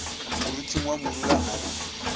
moriting wa morula a re